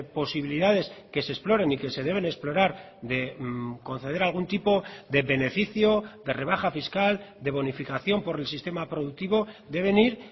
posibilidades que se exploren y que se deben explorar de conceder algún tipo de beneficio de rebaja fiscal de bonificación por el sistema productivo deben ir